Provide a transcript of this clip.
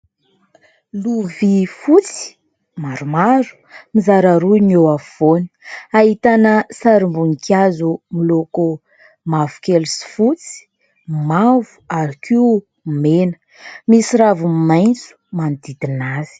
Lovia fotsy maromaro, mizara roa ny eo afovoany : ahitana sarim-boninkazo miloko mavokely sy fotsy, mavo ary koa mena, misy raviny maitso manodidina azy.